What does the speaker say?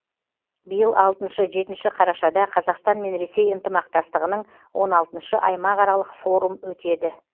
биыл алтыншы жетінші қарашада қазақстан мен ресей ынтымақтастығының он алтыншы аймақ аралық форум өтеді